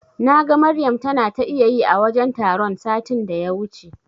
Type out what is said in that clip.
Naga Maryam tana ta iyayi a wajen taron satin da ya wuce.